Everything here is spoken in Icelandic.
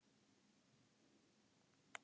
Maður í manns stað